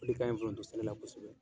Ole kaɲi foronto sɛnɛ na kosɛbɛ.